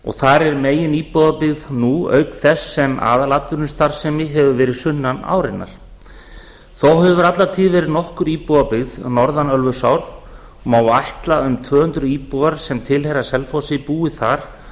og þar er meginíbúðabyggð nú auk þess sem aðalatvinnustarfsemin hefur verið sunnan árinnar þó hefur alla tíð verið nokkur íbúðabyggð norðan ölfusár og má ætla að um tvö hundruð íbúar sem tilheyra selfossi búi þar